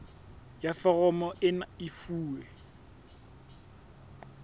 ya foromo ena e fuwe